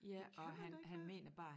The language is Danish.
Det kan man da ikke bare